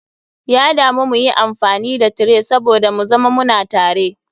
Ya damu muyi amfani da tray saboda mu zama muna tare.